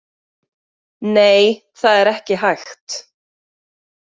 Nei, það er ekki hægt.